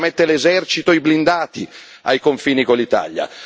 e l'Austria mette l'esercito e i blindati ai confini con l'Italia.